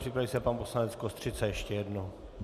Připraví se pan poslanec Kostřica ještě jednou.